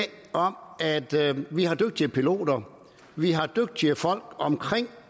om at vi at vi har dygtige piloter vi har dygtige folk omkring